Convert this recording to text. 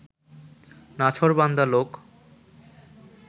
নাছোড়বান্দা লোক